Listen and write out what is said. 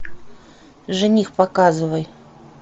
жених показывай